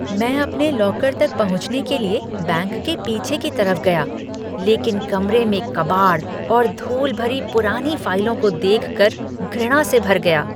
मैं अपने लॉकर तक पहुँचने के लिए बैंक के पीछे की तरफ गया लेकिन कमरे में कबाड़ और धूल भरी पुरानी फाइलों को देखकर घृणा से भर गया।